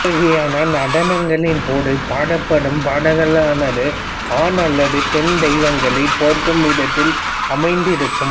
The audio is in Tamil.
இவ்வகையான நடனங்களின் போது பாடப்படும் பாடல்களானது ஆண் அல்லது பெண் தெய்வங்களைப் போற்றும் விதத்தில் அமைந்திருக்கும்